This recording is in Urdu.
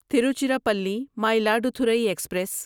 تیروچیراپلی مائلادتھورای ایکسپریس